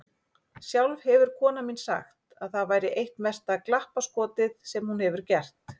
Sjálf hefur konan mín sagt að það væri eitt mesta glappaskotið sem hún hefur gert.